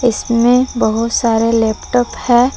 इसमें बहुत सारे लैपटॉप हैं।